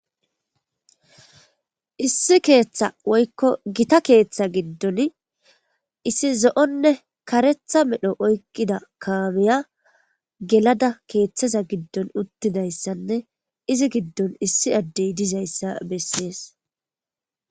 issi keeththa woykko gita keeththa giddon issi zo7onne karetha medho oykkida kaamiya gelada keeththaza giddon uttidayssanne izi giddon issi addey dizayssa bessees